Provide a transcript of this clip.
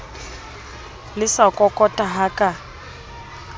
le sa kokota ha ka